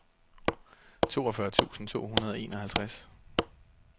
toogfyrre tusind to hundrede og enoghalvtreds